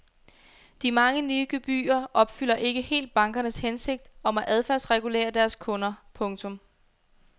De mange nye gebyrer opfylder ikke helt bankernes hensigt om at adfærdsregulere deres kunder. punktum